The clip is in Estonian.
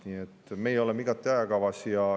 Nii et meie oleme igati ajakavas.